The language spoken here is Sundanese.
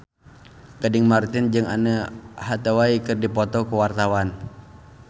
Gading Marten jeung Anne Hathaway keur dipoto ku wartawan